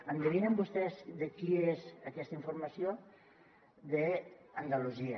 endevinen vostès de qui és aquesta informació d’andalusia